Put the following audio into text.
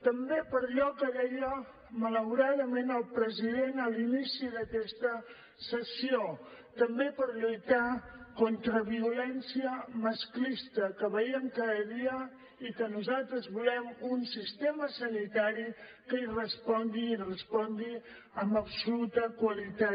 també per allò que deia malauradament el president a l’inici d’aquesta sessió també per lluitar contra violència masclista que veiem cada dia i que nosaltres volem un sistema sanitari que hi respongui i hi respongui amb absoluta qualitat